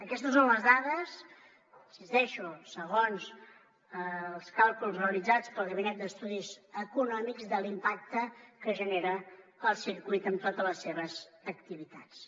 aquestes són les dades hi insisteixo segons els càlculs realitzats pel gabinet d’estudis econòmics de l’impacte que genera el circuit amb totes les seves activitats